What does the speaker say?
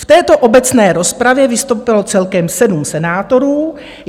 V této obecné rozpravě vystoupilo celkem sedm senátorů.